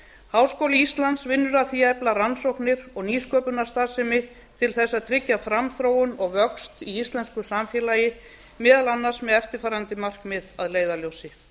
háskóli íslands vinnur að því að efla rannsóknir og nýsköpunarstarfsemi til þess að tryggja framþróun og vöxt í íslensku samfélagi meðal annars með eftirfarandi markmið að leiðarljósi